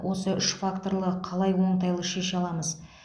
осы үш факторлы қалай оңтайлы шеше аламыз